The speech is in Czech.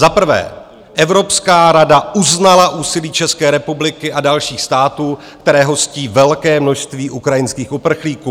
Za prvé, Evropská rada uznala úsilí České republiky a dalších států, které hostí velké množství ukrajinských uprchlíků.